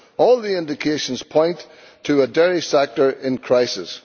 All the indications point to a dairy sector in crisis.